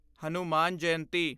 Hanuman Jayanti